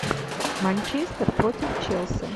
манчестер против челси